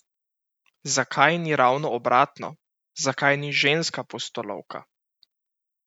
Zakaj ni ravno obratno, zakaj ni ženska pustolovka?